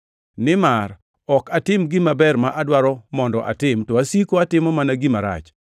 Nimar ok atim gima ber ma adwaro mondo atim to asiko atimo mana gima rach.